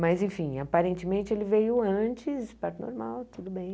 Mas, enfim, aparentemente ele veio antes, parto normal, tudo bem.